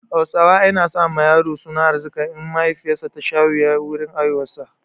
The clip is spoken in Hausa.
Hausawa ai na sa ma yaro suna Arzika in mahaifiyar sa ta sha wuya wurin haihuwar sa